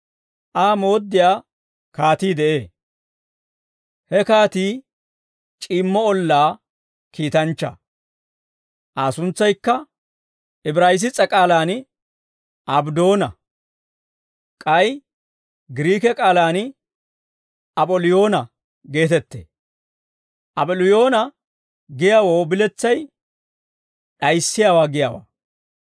Aa mooddiyaa kaatii de'ee. He kaatii c'iimmo ollaa kiitanchchaa. Aa suntsaykka Ibraayiss's'e k'aalaan Abddoona; k'ay Giriike k'aalaan Ap'oliyoona geetettee. Ap'oliyoona giyaawoo biletsay, d'ayissiyaawaa giyaawaa.